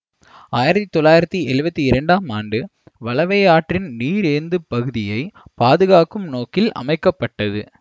ஆயிரத்தி தொள்ளாயிரத்தி எழுவத்தி இரண்டாம் ஆண்டு வளவை ஆற்றின் நீரேந்துப்பகுதியை பாதுகாக்கும் நோக்கில் அமைக்க பட்டது